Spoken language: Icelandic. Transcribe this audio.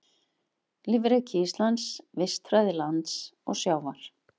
Lífríki Íslands, vistfræði lands og sjávar.